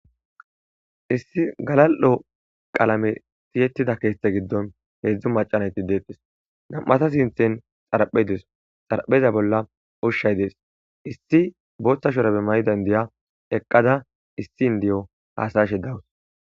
Issi galal'o qalame siyettida keetthe giddon heedzdzu macanayti deetes nam'ata sinthen xaraphedes xarapheza bolla ushay dees issi booththashorabe may dayndiya eqqada issi indi'o hasashe dawus.